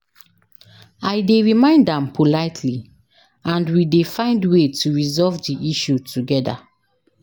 i dey remind am politely, and we dey find way to resolve di issue together.